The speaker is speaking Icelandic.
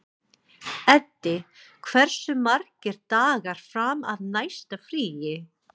Eddi, hversu margir dagar fram að næsta fríi?